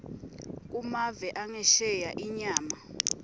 kumave angesheya inyama